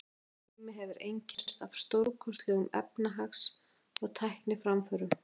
Þessi tími hefur einkennst af stórkostlegum efnahags- og tækniframförum.